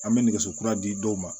An bɛ nɛgɛso kura di dɔw ma